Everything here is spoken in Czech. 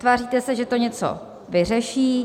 Tváříte se, že to něco vyřeší.